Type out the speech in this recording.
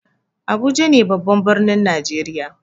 Abuja ne babban birnin najeriya.